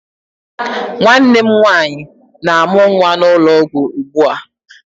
Nwanne m nwaanyị na-amụ nwa n'ụlọ ọgwụ ugbua.